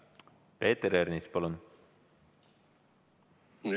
Peeter Ernits, palun!